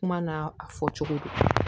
Kuma na a fɔ cogo do